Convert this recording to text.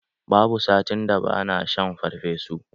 Babu satin da ba na shan farfesu.